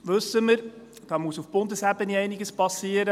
– Das wissen wir, da muss auf Bundesebene einiges geschehen.